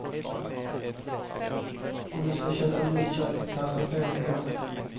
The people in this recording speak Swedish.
Om du ska köpa nytt kök, passa på i år.